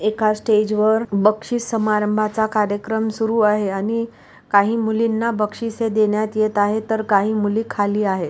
एका स्टेज वर बक्षीस समारंभाचा कार्यक्रम सुरू आहे आणि काही मुलींना बक्षीसे देण्यात येत आहे तर काही मुली खाली आहे.